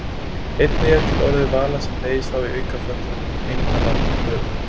einnig er til orðið vala sem beygist þá í aukaföllum eintala völu